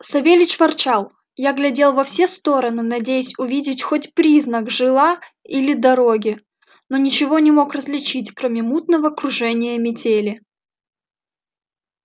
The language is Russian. савельич ворчал я глядел во все стороны надеясь увидеть хоть признак жила или дороги но ничего не мог различить кроме мутного кружения метели